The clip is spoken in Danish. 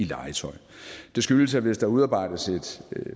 legetøj og det skyldes at hvis der udarbejdes et